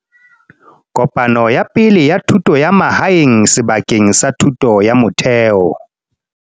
Kopano ya Pele ya Thuto ya Mahae ng sebakeng sa thuto ya motheo.